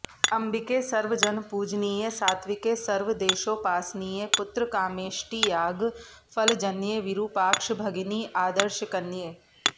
अम्बिके सर्वजनपूजनीये सात्विके सर्व देशोपासनीये पुत्रकामेष्टियाग फलजन्ये विरूपाक्ष भगिनि आदर्शकन्ये